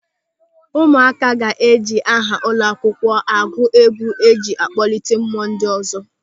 Ụmụaka ga-eji aha ụlọakwụkwọ agụ egwu ịji kpọlite mmụọ ndị ọzọ.